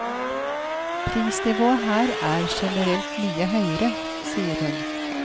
Prisnivået her er generelt mye høyere, sier hun.